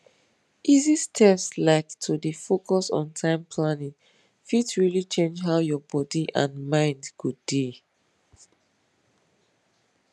easy steps like to dey focus on time planning fit really change how your body and mind go dey